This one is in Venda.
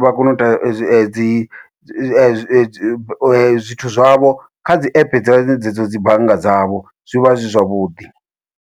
vha kone uita dzi dzi dzi zwithu zwavho kha dzi app dze dzo dzi bannga dzavho zwi vha zwi zwavhuḓi.